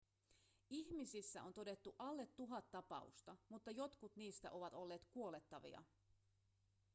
ihmisissä on todettu alle tuhat tapausta mutta jotkut niistä ovat olleet kuolettavia